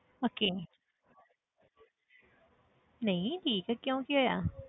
Okay ਨਹੀਂ ਠੀਕ ਹੈ ਕਿਉਂ ਕੀ ਹੋਇਆ?